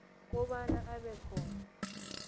kobana abe khona